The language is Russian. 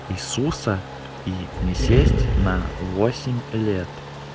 иисуса и не сесть на